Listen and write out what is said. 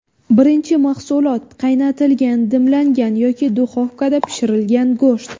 Birinchi mahsulot : qaynatilgan, dimlangan yoki duxovkada pishirilgan go‘sht.